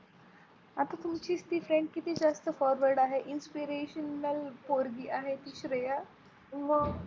आता तुमचीच ती Friend किती जास्त Forward आहे Inspirational पोरगी आहे ती श्रेया